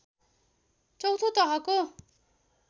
चौँथो तहको